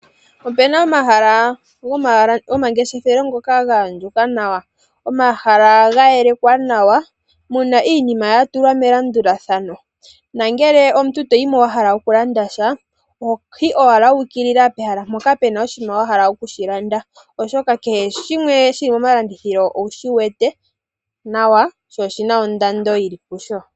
Opena omahala gomangeshefelo ngoka ga andjuka nawa. Haga kala ga yelekwa nawa , muna iinima ya tulwa melandulathano nongele omuntu toyimo wahala oku landasha oho yi owala wu ukilila pehala mpoka pena oshinima wa hala okushi landa oshoka kehe shimwe shili mo malandithilo owu shiwete nawa po opuna ondando yili pusho.